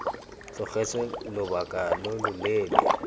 tlogetswe lobaka lo lo leele